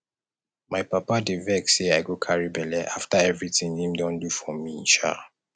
my papa dey vex sey i go carry belle after evrytin wey im don do for me um